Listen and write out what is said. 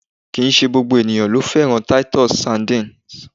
Kìí ṣe gbogbo ènìyàn ló fẹ́ràn titus sardines.